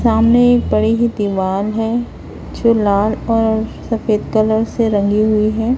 सामने बड़ी ही दीवाल है जो लाल और सफेद कलर से रंगी हुई है।